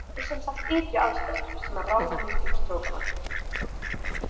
Það eru sem sagt ytri aðstæður sem ráða myndun strókanna.